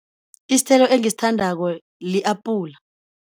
Isithelo engisithandako li-apula.